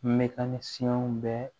Mɛtan ni siyɛn bɛ